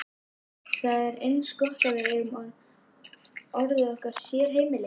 Það er eins gott að við eigum orðið okkar sérheimili.